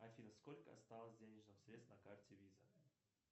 афина сколько осталось денежных средств на карте виза